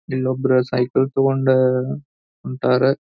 ಇಲೊಬ್ಬರು cycle ತೊಕೊಂಡು ಹೊಂಟಾರೆ.